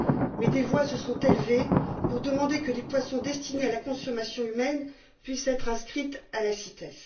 Mais des voix se sont élevées pour demander que des poissons destinés à la consommation humaine puissent être inscrits à la CITES.